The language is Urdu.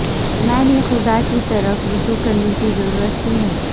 میں نے خدا کی طرف رجوع کرنے کی ضرورت کیوں ہے